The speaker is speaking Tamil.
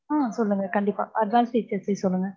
ஹம் சொல்லுங்க கண்டிப்பா adavance features சொல்லுங்க.